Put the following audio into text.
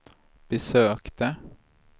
besökte